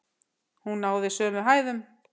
Hún náði sömu hæðum!